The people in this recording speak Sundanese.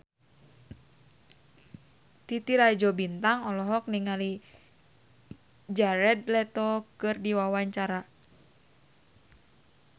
Titi Rajo Bintang olohok ningali Jared Leto keur diwawancara